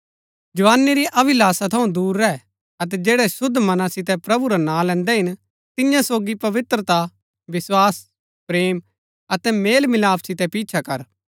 जवानी री अभिलाषा थऊँ दूर रैह अतै जैड़ै शुद्व मनां सितै प्रभु रा नां लैन्दै हिन तियां सोगी पवित्रता विस्वास प्रेम अतै मेलमिलाप सितै पिछा कर